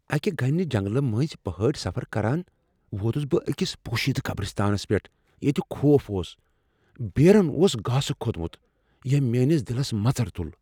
اكہِ گنہِ جنگلہٕ منزۍ پہٲڈی سفر كران ووتٗس بہٕ اكِس پوشیدہ قبرِستانس پیٹھ ییتہِ خوف اوس ، پیرین اوس گاسہٕ كھوتمٗت ییمۍ میٲنِس دِلس مژر تُل۔